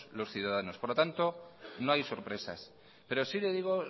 los ciudadanos por lo tanto no hay sorpresas pero sí le digo